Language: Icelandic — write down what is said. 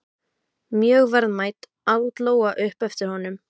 Mjög verðmæt, át Lóa upp eftir honum.